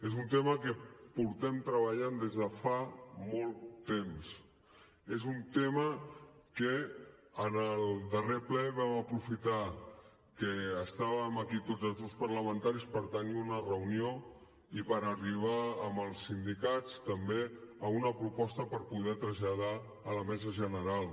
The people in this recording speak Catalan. és un tema que hi portem treballant des de fa molt temps és un tema que en el darrer ple vam aprofitar que estàvem aquí tots els grups parlamentaris per tenir una reunió i per arribar amb els sindicats també a una proposta per poder traslladar a la mesa general